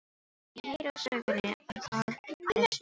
Hann heyrir á soginu að það er stórt nef.